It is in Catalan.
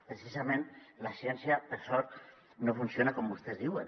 precisament la ciència per sort no funciona com vostès diuen